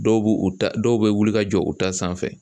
Dɔw b'u ta dɔw bɛ wuli ka jɔ u ta sanfɛ